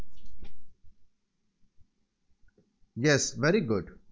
Yes Very Good